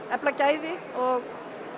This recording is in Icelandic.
efla gæði og